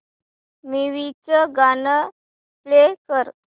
movie चं गाणं play कर